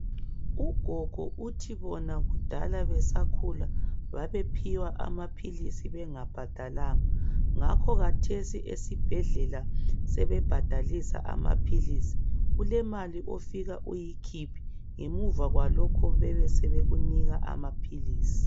Ugogo uthi bona kudala besakhula babephiwa amaphilisi bengabhadalanga. Ngakho khathesi esibhedlela sebebhadalisa amaphilisi. Kulemali ofika uyikhiphe ngemuva kwalokho sebekunika amaphilisi.